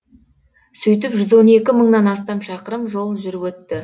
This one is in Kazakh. сөйтіп жүз он екі мыңнан астам шақырым жол жүріп өтті